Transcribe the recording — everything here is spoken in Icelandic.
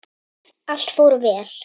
Allt fór vel.